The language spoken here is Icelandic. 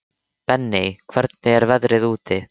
Benney, hvernig er veðrið úti?